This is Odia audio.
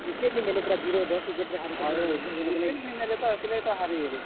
Wicket ନି ନେଲେ ପୁରା zero ଦଶ୍ wicket ରେ ହାରି ଗଲେ ।